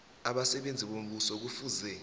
abasebenzi bombuso kufuze